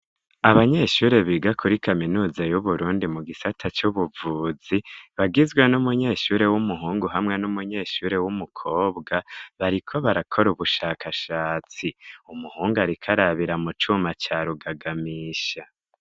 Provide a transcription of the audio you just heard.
Abanyeshuri biga kuri kaminuza y'uburundi mu gisata c'ubuvuzi bagizwe n'umunyeshuri w'umuhungu hamwe n'umunyeshuri w'umukobwa bariko barakora ubushakashatsi umuhungu arikarabira mu cuma carugagamisha.